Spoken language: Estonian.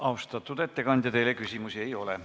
Austatud ettekandja, teile küsimusi ei ole.